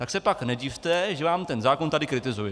Tak se pak nedivte, že vám ten zákon tady kritizuji.